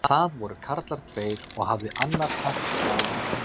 Það voru karlar tveir og hafði annar hött bláan á höfði.